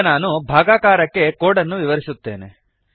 ಈಗ ನಾನು ಭಾಗಾಕಾರಕ್ಕೆ ಕೋಡ್ ಅನ್ನು ವಿವರಿಸುತ್ತೇನೆ